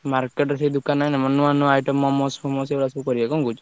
Market ସେ ଦୋକାନ ରେ ନୂଆନୂଆ items ମୋମୋସ, ଫୋମୋସ ଏଇଗୁଡା ସବୁ କରିଆ କଣ କହୁଛ?